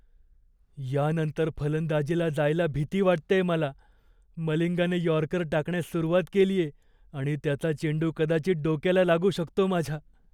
यानंतर फलंदाजीला जायला भीती वाटतेय मला. मलिंगाने यॉर्कर टाकण्यास सुरुवात केलीये आणि त्याचा चेंडू कदाचित डोक्याला लागू शकतो माझ्या.